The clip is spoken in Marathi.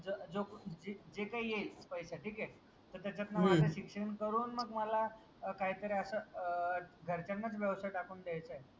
ज जो जे काही येईल पैसा ठिकये त्याच्यात न माझं शिक्षण करून मग मला काहीतरी असं अह घरच्यांनाच व्यवसाय टाकून द्यायचाय.